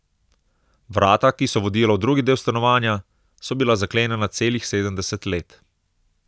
Vrata, ki so vodila v drugi del stanovanja, so bila zaklenjena celih sedemdeset let.